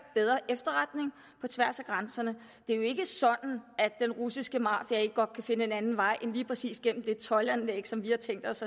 bedre efterretning på tværs af grænserne det er jo ikke sådan at den russiske mafia ikke godt kan finde en anden vej end lige præcis gennem det toldanlæg som vi har tænkt os